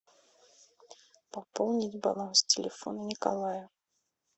пополнить баланс телефона николая